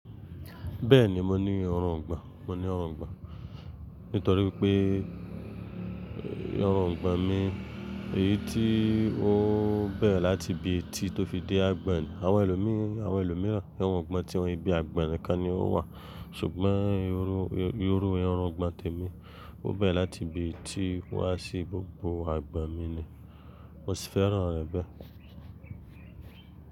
Bẹ́ẹ̀ni mo ní irùngbọ̀n, mo ní irùngbọ̀n Nítorí pé irùngbọ̀n mi, èyí tí ó bẹ̀rẹ̀ láti ibi etí tó fi dé àgbọ̀n ni. Àwọn ẹlòmíìran irùngbọ̀n tiwọn ibi àgbọ̀n nìkan ni ó wà. Ṣùgbọ́n ìrú irùngbọ̀n tèmi, ó bẹ̀rẹ̀ láti ibi etí wá sí gbogbo àgbọ̀n mi ni. Mo sì fẹ́ràn rẹ̀ bẹ́ẹ̀.